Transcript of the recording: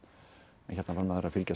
en hérna var maður að fylgjast með